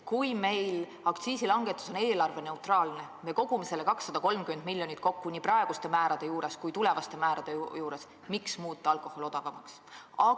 Kui meil aktsiisi langetamine on eelarveneutraalne samm ja me kogume selle 230 miljonit kokku nii praeguste määrade juures kui tulevaste määrade juures, miks siis muuta alkohol odavamaks?